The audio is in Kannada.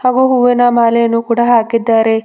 ಹಾಗೂ ಹೂವಿನ ಮಾಲೆಯನ್ನು ಕೂಡ ಹಾಕಿದ್ದಾರೆ.